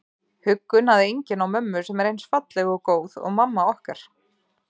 Huggun að enginn á mömmu sem er eins falleg og góð og mamma okkar.